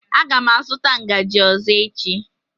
Aga m azụta ngaji ọzọ echi.